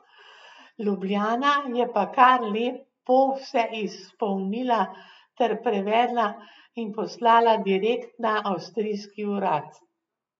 Ljubljana je pa kar lepo vse izpolnila ter prevedla in poslala direkt na Avstrijski urad.